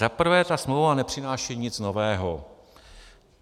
Za prvé, ta smlouva nepřináší nic nového.